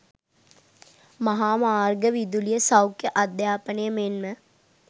මහා මාර්ග, විදුලිය, සෞඛ්‍ය, අධ්‍යාපනය මෙන්ම